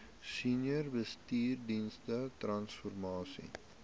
senior bestuursdienste transformasie